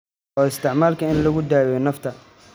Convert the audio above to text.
Loo isticmaalo in lagu daweeyo neefta (iyadoo la isticmaalayo sinjibiil).